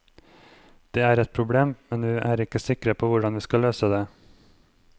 Det er et problem, men vi er ikke sikre på hvordan vi skal løse det.